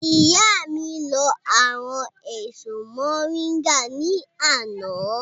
Ìyá mi lọ àwọn èso mọ̀ríńgà ní àná